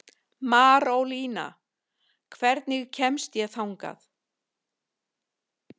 Marólína, hvernig kemst ég þangað?